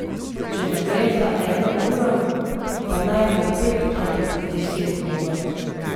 Če ne gre za eno uro, pa naj bo pet ali deset minut.